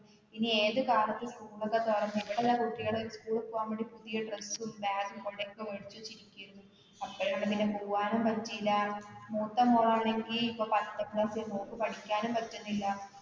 ഇനി ഏതുകാലത്ത്‌ school ക്കെ തുറന്ന് ഇവിടെതാ കുട്ടികള് school ല് പോകാൻവേണ്ടി പുതിയ dress, bag ഉം കുടയുമൊക്കെ മേടിച്ചുവച്ചിരിക്കയാണ്. അപ്പോഴാണ് പിന്നെ പോകാനും പറ്റില്ല മൂത്തമോള് ആണെങ്കില് ഇപ്പോ പത്താം class ല് മോള്ക്ക് പഠിക്കാനും പറ്റുന്നില്ല.